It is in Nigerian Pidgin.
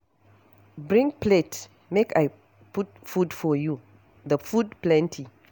Bring plate make I put food for you, the food plenty.